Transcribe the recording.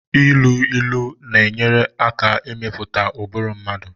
Ilu ilu na-enyere aka ịmụpụta ụbụrụ mmadụ